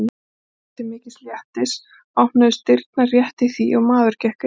Stjána til mikils léttis opnuðust dyrnar rétt í því og maður gekk inn.